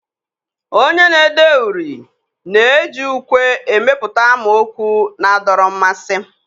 Onye na-ede uri na-eji ukwe emepụta amaokwu na-adọrọ mmasị.